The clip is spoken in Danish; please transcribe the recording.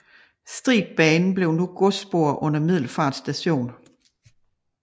Stribbanen blev nu et godsspor under Middelfart station